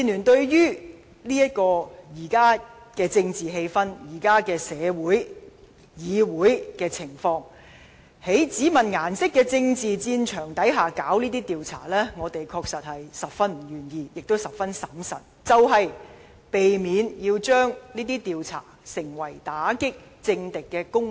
對於在現今政治、社會和議會的情況下，對於在只問顏色的政治戰場下進行這種調查，民建聯確實十分不願意，亦十分審慎，就是要避免令這些調查成為打擊政敵的工具。